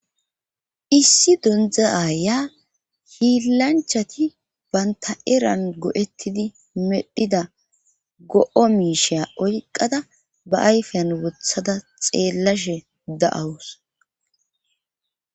issi dondza aya hiilanchati banta eran go7ettidi medhida go7o miisheya oyqada ba ayfeyan wothada xeellashe da7awus